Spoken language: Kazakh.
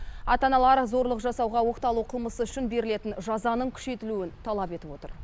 ата аналар зорлық жасауға оқталу қылмысы үшін берілетін жазаның күшейтілуін талап етіп отыр